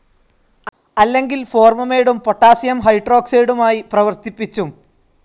അല്ലെങ്കിൽ ഫോർമമൈഡും പൊട്ടാസിയം ഹൈഡ്രോക്സൈഡുമായി പ്രവർത്തിപ്പിച്ചും